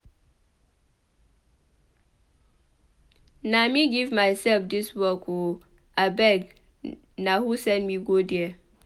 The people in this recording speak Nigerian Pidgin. Na me give myself dis work ooo abeg na who send me go there?